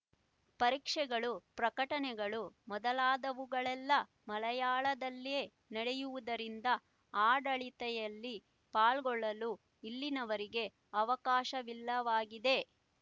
ಪರೀಕ್ಷೆಗಳು ಪ್ರಕಟಣೆಗಳು ಮೊದಲಾದವುಗಳೆಲ್ಲ ಮಲೆಯಾಳದಲ್ಲೇ ನಡೆಯುವುದರಿಂದ ಆಡಳಿತೆಯಲ್ಲಿ ಪಾಲುಗೊಳ್ಳಲು ಇಲ್ಲಿನವರಿಗೆ ಅವಕಾಶವಿಲ್ಲವಾಗಿದೆ